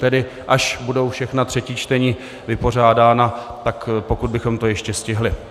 Tedy až budou všechna třetí čtení vypořádána, tak pokud bychom to ještě stihli.